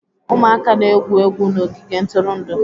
Ụmụaka na-egwu egwu n'ogige ntụrụndụ.